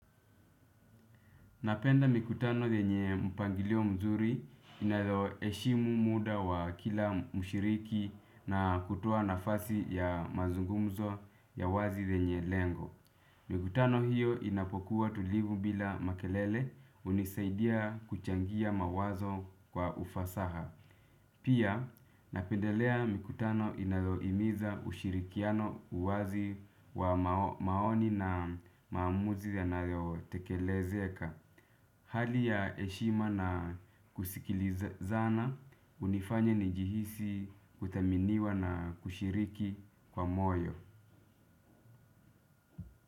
Napenda mikutano yenye mpangilio mzuri inayoheshimu muda wa kila mshiriki na kutoa nafasi ya mazungumzo ya wazi zenye lengo. Mikutano hiyo inapokuwa tulivu bila makelele hunisaidia kuchangia mawazo kwa ufasaha. Pia napendelea mikutano inayohimiza ushirikiano uwazi wa maoni na maamuzi yanayotekelezeka. Hali ya heshima na kusikilizana hunifanya ni jihisi kuthaminiwa na kushiriki kwa moyo.